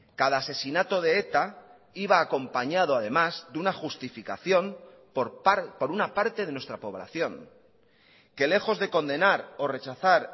cada asesinato de eta iba acompañado además de una justificación por una parte de nuestra población que lejos de condenar o rechazar